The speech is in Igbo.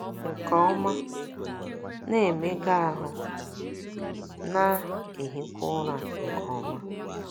nke ọma, na - emega ahụ́, na - ehikwa ụra nke ọma